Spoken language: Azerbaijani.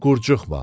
Qurcuxma.